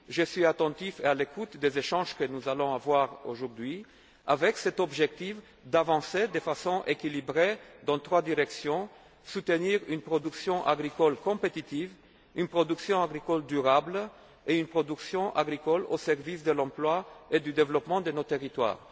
accompli. Je serai attentif aux échanges que nous aurons aujourd'hui, avec l'objectif d'avancer de façon équilibrée dans trois directions soutenir une production agricole compétitive, une production agricole durable et une production agricole au service de l'emploi et du développement de nos territoires.